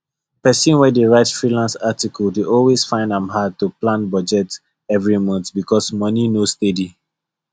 person wey dey write freelance article dey always find am hard to plan budget every month because money no steady